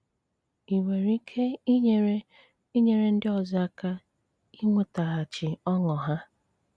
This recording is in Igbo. Ị nwéré íké ínyéré ínyéré ndị ọ́zọ́ áká ínwétágháchí ọṅụ há?